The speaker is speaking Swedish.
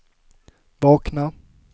vakna